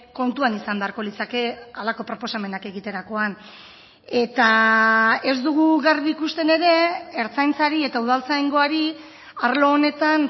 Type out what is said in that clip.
kontuan izan beharko litzake halako proposamenak egiterakoan eta ez dugu garbi ikusten ere ertzaintzari eta udaltzaingoari arlo honetan